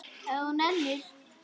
Ef þú nennir.